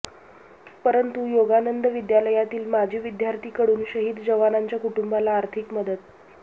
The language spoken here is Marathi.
परतूर योगानंद विद्यालयातील माजी विद्यार्थी कडून शहीद जवानांच्या कुटुंबाला आर्थिक मदत